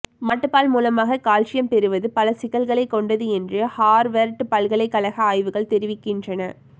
மாட்டுப்பால் மூலமாக கால்சியம் பெறுவது பல சிக்கல்களை கொண்டது என்று ஹார்வர்ட் பல்கலைக்கழக ஆய்வுகள் தெரிவிக்கின்றன